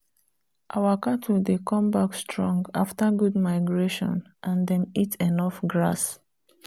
our cattle dey come back strong after good migration and them eat enough grass.